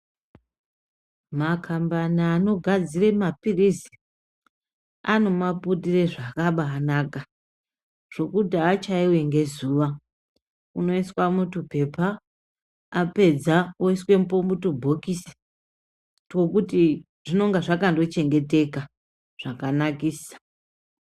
Makambani anogadzire maphirizi anomaputire zvakabanaka. Zvokuti hachaivi ngezuva unoiswa mutupepa apedza oisepo mutubhokisi tokuti zvinonga zvakando chengeteka zvakanakisa.